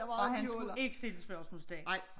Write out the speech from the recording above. Og han skulle ikke stille spørgsmålstegn